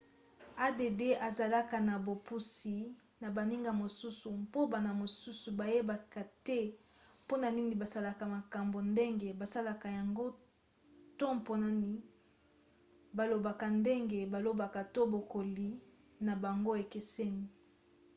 add ezalaka na bopusi na baninga mosusu mpo bana mosusu bayebaka te mpona nini basalaka makambo ndenge basalaka yango to mpona nani balobaka ndenge balobaka to bokoli na bango ekeseni